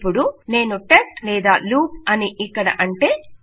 ఇపుడు నేను టెస్ట్ లేదా లూప్ అని ఇక్కడ అంటే